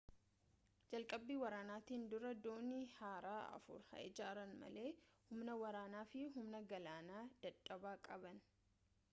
jalqabbii waraanaatiin dura doonii haaraa afur haa ijaaran malee humna waraanaa fi humna galaanaa dadhabaa qaban